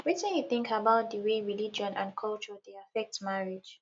wetin you think about di way religion and culture dey affect marriage